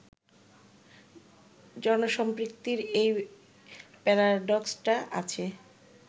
জনসম্পৃক্তির এই প্যারাডক্সটা আছে